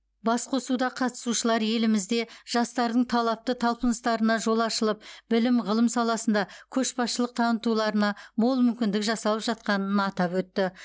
басқосуда қатысушылар елімізде жастардың талапты талпыныстарына жол ашылып білім ғылым саласында көшбасшылық танытуларына мол мүмкіндік жасалып жатқанын атап өтті